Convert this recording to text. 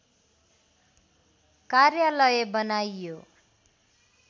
कार्यालय बनाइयो